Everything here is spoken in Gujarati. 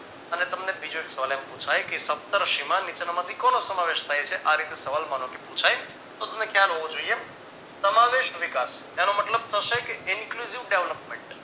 અને તમને બીજો એક સવાલ એમ પુછાય કે સપ્તર્ષિમાં નીચેના માંથી કોનો સમાવેશ થાય છે. આ રીતે સવાલ માનો કે પુછાય તો તમને ખ્યાલ હોવો જોઈએ સમાવેશ વિકાશ એનો મતલબ થશે કે incluzive development